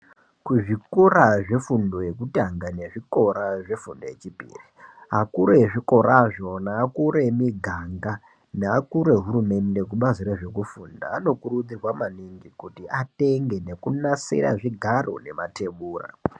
Kuzvikora zvefundo yekutanga nezvikora zvefundo yechipiri akuru ezvikorazvo neakuru emiganga neakuru ehurumende kubazi rezvekufunda anokurudzirwa maningi kuti atenge nekunasira zvigaro nemathebura.